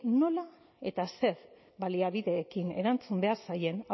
nola eta zer baliabiderekin erantzun behar zaien